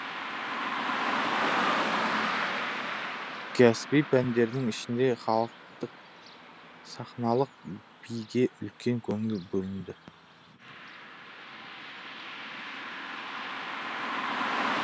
кәсіби пәндердің ішінде халықтық сахналық биге үлкен көңіл бөлінді